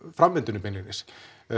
framvindunni beinlínis